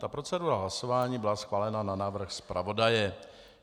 Ta procedura hlasování byla schválena na návrh zpravodaje.